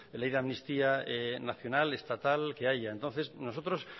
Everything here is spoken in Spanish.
ley de amnistía nacional estatal que haya entonces nosotros